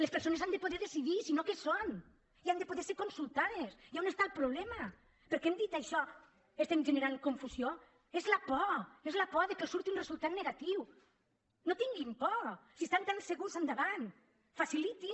les persones han de poder decidir si no què són i han de poder ser consultades i a on està el problema perquè hem dit això estem generant confusió és la por és la por que els surti un resultat negatiu no tinguin por si estan tan segurs endavant facilitin